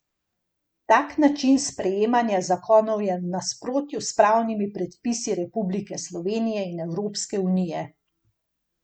Tak način sprejemanja zakonov je v nasprotju s pravnimi predpisi Republike Slovenije in Evropske unije.